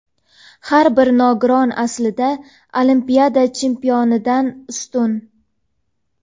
har bir nogiron aslida olimpiada chempionidan ustun.